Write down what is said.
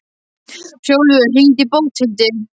Hrólfur, hringdu í Bóthildi.